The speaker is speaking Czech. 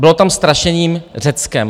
Bylo tam strašení Řeckem.